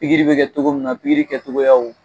Pigiri be kɛ togo min na pigiri kɛ togoyaw